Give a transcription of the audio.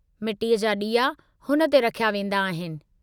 मिटीअ जा ॾीआ हुन ते रखिया वेंदा आहिनि।